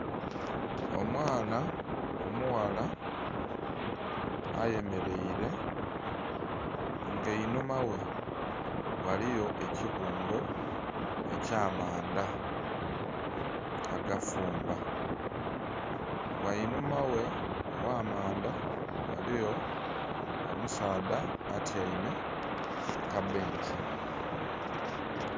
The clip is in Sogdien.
Omwana omughala ayemeleile nga einhuma ghe ghaligho ekibungo eky'amanda agafumba, ghanhuma ghe ogh'amanda ghaligho omusaadha atyaime ku kabbenki.